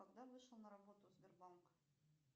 когда вышел на работу сбербанк